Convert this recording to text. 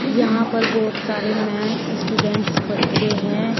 यहां पर बहुत सारे मैन स्टूडेंट्स बच्चे हैं।